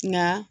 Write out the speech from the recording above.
Nka